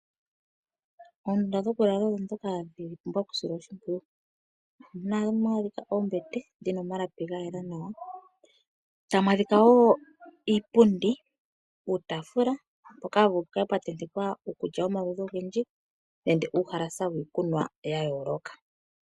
Oondunda dhokulala odhoka dhapumbwa oku silwa oshipwiyu, ohamwadhika Oombete dhina omalapi gayela nawa tamwadhika wo iipundi, iitafula poka hawuvulu pukale pwatetekwa iikulya yomaludhi ongendji nenge uhalasa wikunwa ya yoloka.